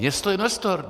Město - investor.